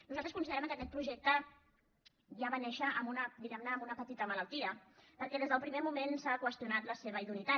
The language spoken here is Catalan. nosaltres considerem que aquest projecte ja va néixer diguemne amb una petita malaltia perquè des del primer moment s’ha qüestionat la seva idoneïtat